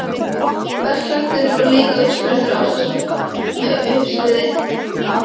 Berklarnir voru líka uppspretta ástarsorga með sögusviði á